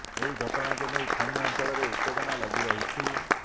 ଏହି ଘଟଣାକୁ ନେଇ ଖଣି ଅଞ୍ଚଳରେ ଉତେଜନା ଲାଗି ରହିଛି